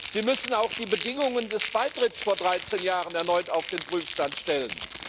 Sie müssen auch die Bedingungen des Beitritts vor 13 Jahren erneut auf den Prüfstand stellen.